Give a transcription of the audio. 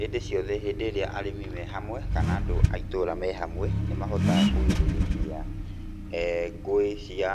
Hĩndĩ ciothe hĩndĩ ĩria arĩmi me hamwe, kana andũ a itũra me hamwe, nĩ mahotaga kũgirĩrĩria ngũĩ cia